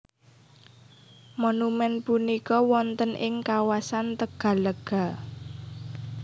Monumèn punika wonten ing kawasan Tegallega